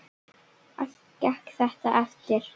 Allt gekk þetta eftir.